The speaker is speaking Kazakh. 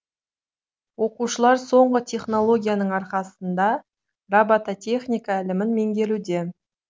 оқушылар соңғы технологияның арқасында робототехника ілімін меңгеруде